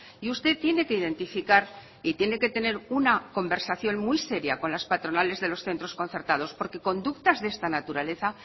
y usted tiene que identificar y tiene que tener una conversación muy seria con las patronales de los centros concertados porque conductas de esta naturaleza